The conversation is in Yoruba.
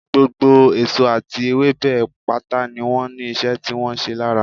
Gbogbo èso àti ewébẹ̀ pátá ni wọ́n ní ìṣe tí wọ́n ń ṣe lára